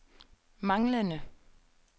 manglende